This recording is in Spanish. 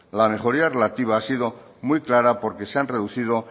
la mejoría relativa ha sido muy clara porque se han reducido